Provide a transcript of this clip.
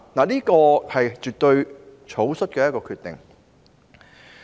這絕對是草率的決定。